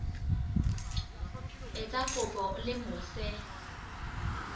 etsa kopo o le mose